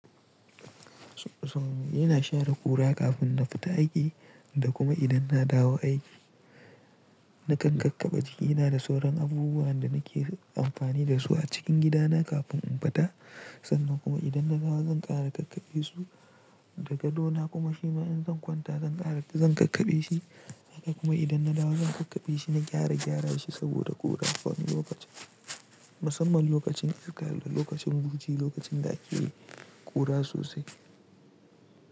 Ina share ƙura kafin na fita aiki da kuma idan na dawo aiki. Na kan kankabba jikina da sauran abubuwan da nake amfani da su a cikin gidana kafin in fita. Sannan kuma idan na dawo zan ƙara ƙakkaɓe su da gado na kuma shima in zan kwanta zan ƙara zan ƙakkaɓe shi. Haka kuma idan na dawo zan ƙakkaɓe shi na gyara gyara shi saboda ƙura. Wani lokacin, musamman lokacin iska da lokacin buci, lokacin da ake ƙura sosai.